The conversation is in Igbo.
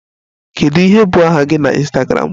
Kedu ihe bụ aha gị na Ịnstagramụ?